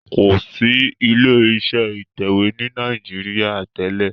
kọ sí ilé-iṣẹ́ ìtẹ̀wé ní Nàìjíríà tèlé.